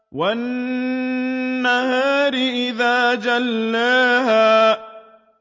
وَالنَّهَارِ إِذَا جَلَّاهَا